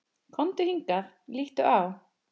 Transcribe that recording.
Komdu hingað, líttu á!